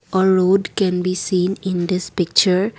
a road can be seen in this picture.